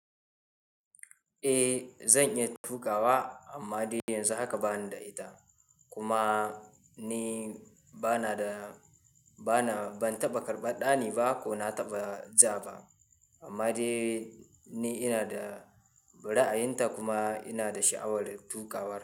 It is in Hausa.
Eh, zan iya tukawa amma dai yanzu haka bani da ita. Kuma ni bana da, bana, ban taɓa karɓan ɗani ba ko na taɓa ja ba. Amma dai ni ina da bura'ayinta kuma ina da sha'awar tukawar.